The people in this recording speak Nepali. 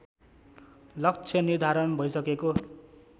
लक्ष्य निर्धारण भइसकेको